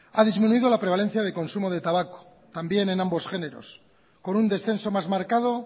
ha disminuido la prevalencia de consumo de tabaco también en ambos géneros con un descenso más marcado